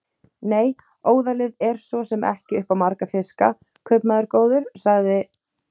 Nei, óðalið er svo sem ekki upp á marga fiska, kaupmaður góður, sagði